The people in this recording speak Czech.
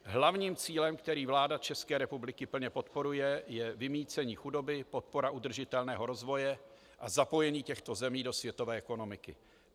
Hlavním cílem, který vláda České republiky plně podporuje, je vymýcení chudoby, podpora udržitelného rozvoje a zapojení těchto zemí do světové ekonomiky.